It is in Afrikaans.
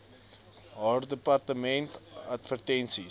haar departement advertensies